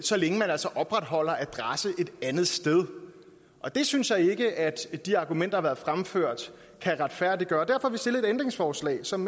så længe man altså opretholder adresse et andet sted det synes jeg ikke at de argumenter været fremført kan retfærdiggøre derfor har vi stillet et ændringsforslag som